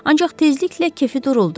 Ancaq tezliklə kefi duruldu.